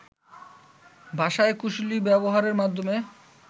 ভাষার কুশলী ব্যবহারের মাধ্যম